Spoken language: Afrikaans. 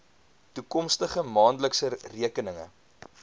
toekomstige maandelikse rekeninge